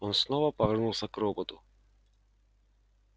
он снова повернулся к роботу